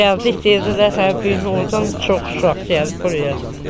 Gəldik dedilər, hə bu gün ordan çox uşaq gəlib buraya.